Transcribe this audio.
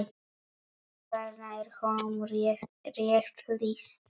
Þarna er honum rétt lýst.